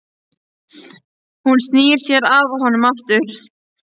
Hún snýr sér að honum aftur.